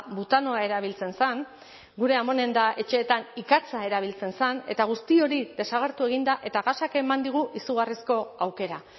butanoa erabiltzen zen gure amonen eta etxeetan ikatza erabiltzen zen eta guzti hori desagertu egin da eta gasak eman digu izugarrizko aukera